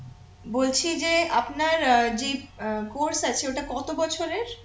বলছি যে আপনার আহ যেই আহ course আছে ওটা কত বছরের